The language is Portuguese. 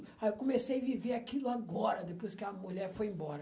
Aí eu comecei a viver aquilo agora, depois que a mulher foi embora.